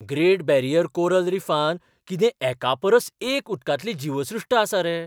Great barrier coral रिफांत कितें एकापरस एक उदकांतली जीवसृश्ट आसा रे!